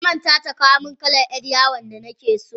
Tamanta ta kawomin kalan yar yawon da nakeso.